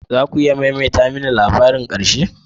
Za ku iya maimaita mini labarin ƙarshe?